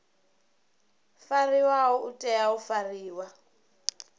fariwaho u tea u fariwa